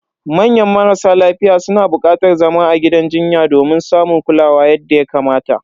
Manya marasa lafiya suna bukatar zama a gidan jinya domin samun kulawa yadda ya kamata.